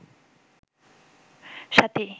সাথী